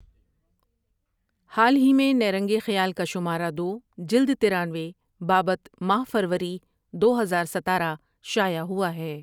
حال ہی میں نیرنگ خیال کا شمارہ دو جلد ترانوے بابت ماہ فروری دو ہزار ستارہ شائع ہوا ہے ۔